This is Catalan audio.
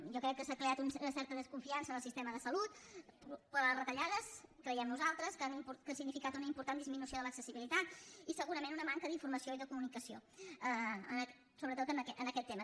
jo crec que s’ha creat una certa desconfiança en el sistema de salut per les retallades creiem nosaltres que han significat una important disminució de l’accessibilitat i segurament una manca d’informació i de comunicació sobretot en aquest tema